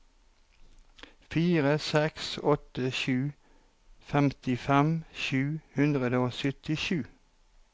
fire seks åtte sju femtifem sju hundre og syttisju